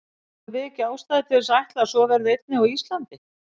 Og höfum við ekki ástæðu til þess að ætla að svo verði einnig á Íslandi?